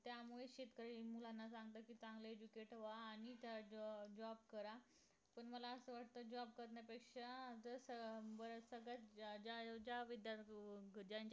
त्यामुळे शेतकरी मुलांना सांगतात कि चांगलं educate व्हा आणि चांगला job करा मला असं वाटत कि job करण्यापेक्षा अं जस सगळ्यात ज्या ज्या विद्दा